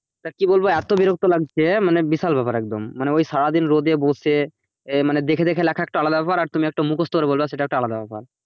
তা কি বলবো এত বিরক্ত লাগছে মানে বিশাল ব্যাপার একদম মানে ওই সারাদিন রোদে বসে মানে দেখে দেখে লেখা একটা আলাদা ব্যাপার আর তুমি মুখস্ত করে বলবে সেটা একটা আলাদা ব্যাপার